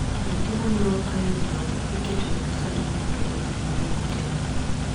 Nyathi monyuol ka yomyom iketo e nasari mondo odhi nyime kotegno.